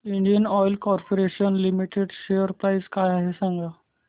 Indian oil corporation limited share price काय आहे सांगा